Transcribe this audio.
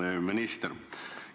Hea minister!